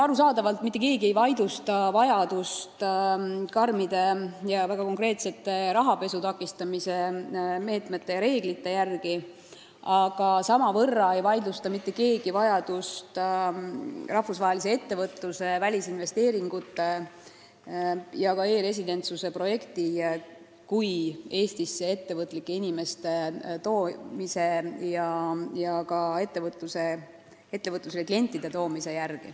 Arusaadavalt mitte keegi ei vaidlusta, et peavad kehtima karmid ja väga konkreetsed rahapesu takistamise meetmed, aga samamoodi ei vaidlusta mitte keegi seda, et me vajame rahvusvahelise ettevõtluse, välisinvesteeringute ja ka e-residentsuse projekti, mis aitab Eestisse tuua ettevõtlikke inimesi ja ka ettevõtetele kliente.